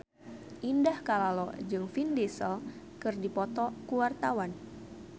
Indah Kalalo jeung Vin Diesel keur dipoto ku wartawan